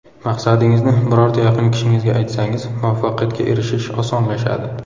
Maqsadingizni birorta yaqin kishingizga aytsangiz, muvaffaqiyatga erishish osonlashadi.